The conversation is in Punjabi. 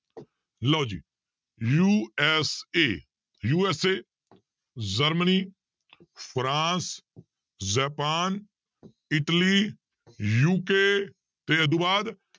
ਲਓ ਜੀ USAUSA Germany France Japan Italy UK ਤੇ ਇਹ ਤੋਂ ਬਾਅਦ